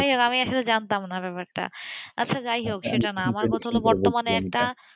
যাইহোক আমি আসলে জানতাম না ব্যাপারটাআচ্ছা যাই হোক সেটা না আমার কথা হল বর্তমানে একটা,